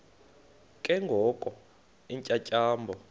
ke ngoko iintyatyambo